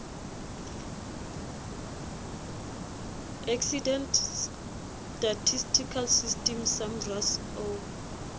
accident statistical system samrass o